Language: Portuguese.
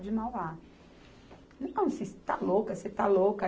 de Mauá. você está louca, você está louca.